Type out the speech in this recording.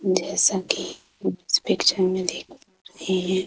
जैसा कि इस पिक्चर में देख रहे हैं।